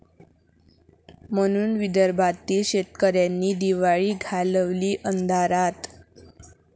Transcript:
...म्हणून विदर्भातील शेतकऱ्यांनी दिवाळी घालवली अंधारात!